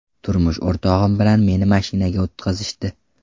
Turmush o‘rtog‘im bilan meni mashinaga o‘tqizishdi.